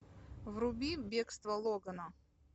вруби бегство логана